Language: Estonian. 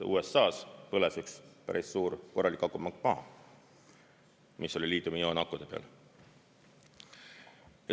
USA-s põles üks päris suur korralik akupank maha, mis oli liitiumioonakude peal.